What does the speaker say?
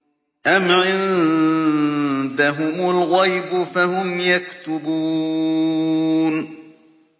أَمْ عِندَهُمُ الْغَيْبُ فَهُمْ يَكْتُبُونَ